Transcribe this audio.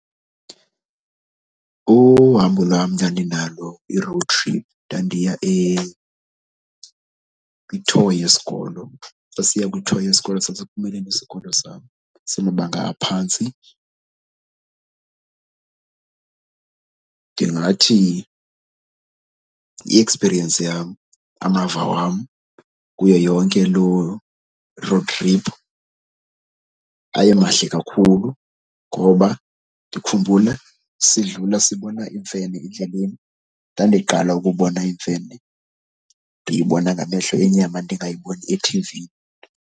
Uhambo lwam ndandinalo i-road trip ndandiya kwi-tour yesikolo sasiya kwi-tour yesikolo sasiphumile nesikolo sam samabanga aphantsi. Ndingathi i-experience yam, amava wam kuyo yonke loo road trip aye mahle kakhulu ngoba ndikhumbula sidlula sibona imfene endleleni. Ndandiqala ukubona imfene ndiyibona ngamehlo enyama ndingayiboni ethivini.